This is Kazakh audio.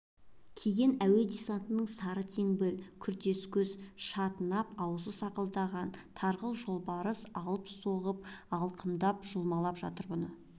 киген әуе десантының сары теңбіл күртес көз шатынап азуы сақылдаған тарғыл жолбарыс алып соғып алқымдап жұлмалап жатыр бұны